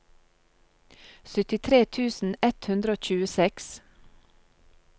syttitre tusen ett hundre og tjueseks